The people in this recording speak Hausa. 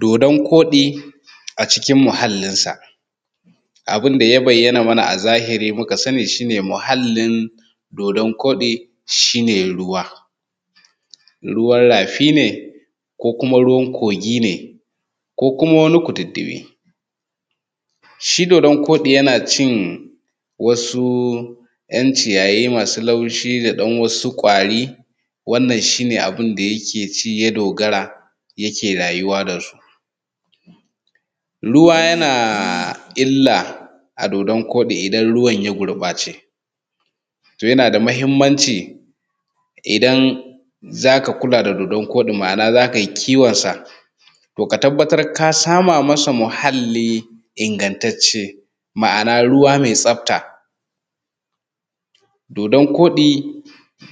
Dodan koɗi a cikin muhallinsa. Abin da ya bayyana mana a zahiri muka sani shi ne muhallin dodan koɗi shi ne ruwa. Ruwan rafi ne, ko kuma ruwan kogi ne, ko kuma wani kududdufi, shi dodan koɗi yana cin wasu ‘yan ciyayi masu laushi da ɗan wasu ƙwari wannan shine abin da yake ci ya dogara yake rayuwa da su. Ruwa yana illa a dodan koɗi idan ruwan ya gurbace, to yana da muhinmanci idan za ka kula da dodan koɗi, ma'ana za kai kiwonsa to ka tabbatar ka sama masa muhalli ingantacce, ma'ana ruwa mai tsafta. Dodan koɗi